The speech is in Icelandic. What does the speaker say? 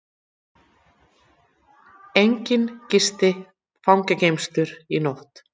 Enginn gisti fangageymslur í nótt